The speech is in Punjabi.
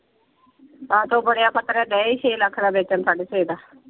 ਆਹ ਤੇ ਉਹ ਬਣਿਆ ਡੇ ਹੀ ਛੇ ਲੱਖ ਦਾ ਵੇਚਣ ਸਾਡੇ ਛੇ ਦਾ।